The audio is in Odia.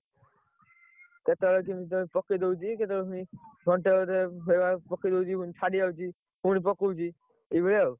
କେତେବେଳେ କେମିତି ଟିକେ ପକେଇ ଦଉଛି କେତେବେଳେ ପୁଣି ଘଅଣ୍ଟେ ଅଧେ ସେଭଳିଆ ପକେଇ ଦଉଛି ପୁଣି ଛାଡ଼ିଯାଉଛି ପୁଣି ପକଉଛି ଏଇଭଳିଆ ଆଉ